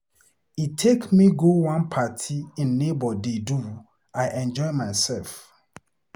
He take me go one party im neighbor dey do. I enjoy myself.